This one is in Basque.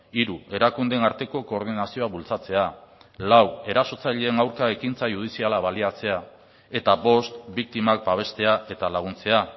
hiru erakundeen arteko koordinazioa bultzatzea lau erasotzaileen aurka ekintza judiziala baliatzea eta bost biktimak babestea eta laguntzea